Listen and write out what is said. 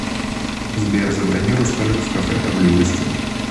сбер забронируй столик в кафе по близости